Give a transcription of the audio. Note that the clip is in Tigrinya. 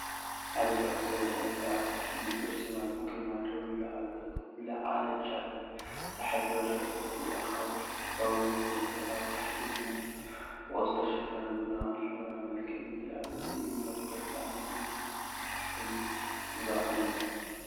ሓደ ልዕል ዝበለ እምባ ኣብ ትሕቲ ንጹር ሰማይ ብግርማ ደው ኢሉ ኣሎ። እቲ ዝለዓለ ጫፍ ብጸሓይ ዝበርህ ቅርጺ ኣኻውሕ ክኸውን ከሎ፡ኣብ ታሕቲ ድማ ብቆጽሊ ዝተሸፈነ ቡናውን ሕብራዊን መልክዓ ምድሪ ኣሎ። እዚ እምባ ተፈጥሮኣዊ ምስሊ ግዜ፡ምልክት ሓይልን ጽባቐንእዩ።